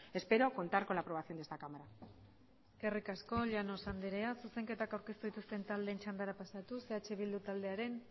espero contar con la aprobación de esta cámara eskerrik asko llanos andrea zuzenketak aurkeztu dituzten taldeen txandara pasatuz eh bildu taldearen